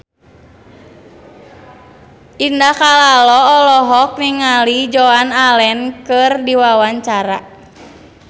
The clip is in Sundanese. Indah Kalalo olohok ningali Joan Allen keur diwawancara